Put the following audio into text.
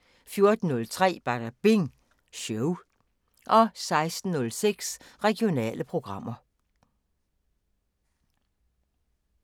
14:03: Badabing Show 16:06: Regionale programmer